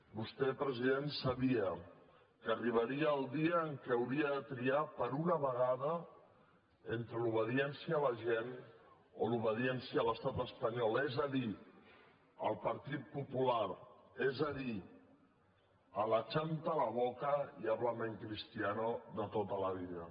vostè president sabia que arribaria el dia en què hauria de triar per una vegada entre l’obediència a la gent o l’obediència a l’estat espanyol és a dir al partit popular és a dir a l’ achanta la boca y háblame en cristiano de tota la vida